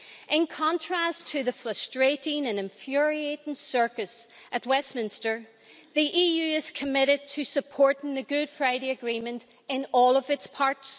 In contrast to the frustrating and infuriating circus at Westminster, the EU is committed to supporting the Good Friday Agreement in all of its parts.